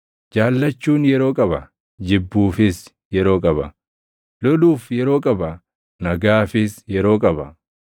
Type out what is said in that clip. jaallachuun yeroo qaba; jibbuufis yeroo qaba; loluuf yeroo qaba; nagaafis yeroo qaba.